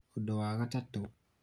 ũndũ wa gatatũ